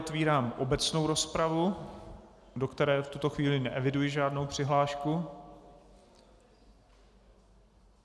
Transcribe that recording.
Otevírám obecnou rozpravu, do které v tuto chvíli neeviduji žádnou přihlášku.